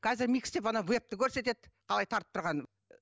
қазір микс деп ана вебті көрсетеді қалай тартып тұрғанын